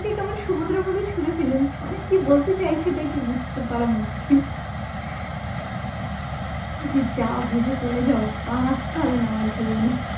ছুঁড়ে ফেলে দিচ্ছে মানে কি বলতে চাইছে টা কি বুঝতে পারা মুশকিল যে যাও ভেসে চলে যাও আর আসতে হবে না আমার জীবনে